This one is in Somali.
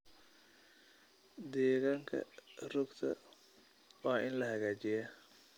Deegaanka rugta waa in la hagaajiyaa.